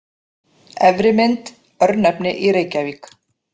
Efri mynd: Örnefni í Reykjavík.